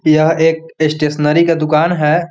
यह एक स्टेशनरी का दुकान है।